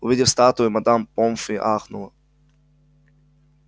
увидев статую мадам помфри ахнула